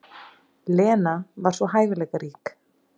Lena var svo hæfileikarík.